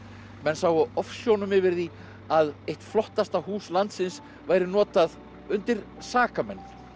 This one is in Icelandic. menn sáu ofsjónum yfir því að eitt flottasta hús landsins væri notað undir sakamenn